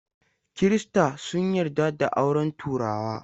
Kirista sun yarda da auren turawa.